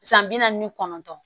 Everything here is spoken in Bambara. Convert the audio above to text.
San bi naani kɔnɔntɔn